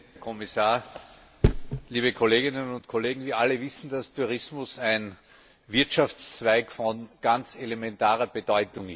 Herr Präsident, Herr Kommissar, liebe Kolleginnen und Kollegen! Wir alle wissen, dass Tourismus ein Wirtschaftszweig von ganz elementarer Bedeutung ist.